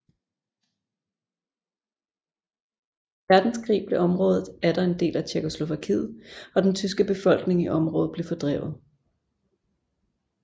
Verdenskrig blev området atter en del af Tjekkoslovakiet og den tyske befolkning i området blev fordrevet